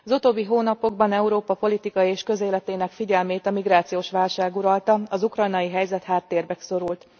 Az utóbbi hónapokban Európa politikai és közéletének figyelmét a migrációs válság uralta, az ukrajnai helyzet háttérbe szorult.